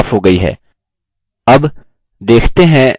अब देखते हैं हमने कितना सही टाइप किया